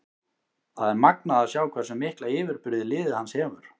Það er magnað að sjá hversu mikla yfirburði liðið hans hefur.